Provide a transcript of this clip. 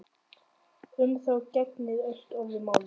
Um þá gegnir allt öðru máli.